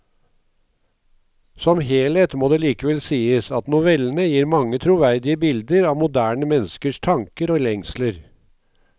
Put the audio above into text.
Som helhet må det likevel sies at novellene gir mange troverdige bilder av moderne menneskers tanker og lengsler.